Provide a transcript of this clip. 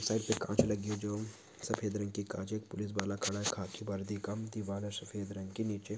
sir पे कांच लगी है जो सफेद रंग की कांच है पुलिश बाला खड़ा है खाखी वर्दी का दीवाल है सफेद रंग की नीचे